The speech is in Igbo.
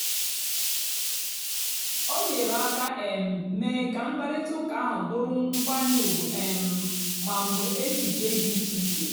o nyèrè àka um meé kà mkpáịrịtà ụ́ka ahụ́ bụ́rụ́ nkwànyè ùgwù um ma mgbè èchìchè dị́ ìchè ìchè.